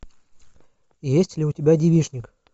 есть ли у тебя девичник